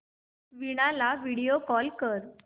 वीणा ला video call कर